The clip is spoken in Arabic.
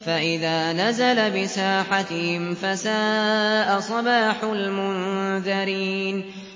فَإِذَا نَزَلَ بِسَاحَتِهِمْ فَسَاءَ صَبَاحُ الْمُنذَرِينَ